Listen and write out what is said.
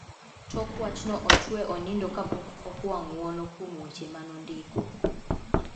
Tok wachno ochwe onindo kapok okwa ng`wono kuom weche manondiko.